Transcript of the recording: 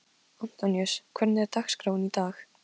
Antoníus, hvernig er dagskráin í dag?